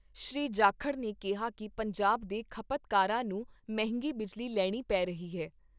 ਸ਼੍ਰੀ ਜਾਖੜ ਨੇ ਕਿਹਾ ਕਿ ਪੰਜਾਬ ਦੇ ਖਪਤ ਕਾਰਾਂ ਨੂੰ ਮਹਿੰਗੀ ਬਿਜਲੀ ਲੈਣੀ ਪੈ ਰਹੀ ਹੈ।